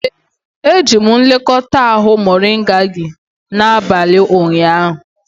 Ee, ejiri m nlekọta ahụ moringa gị n'abalị ụnyaahụ.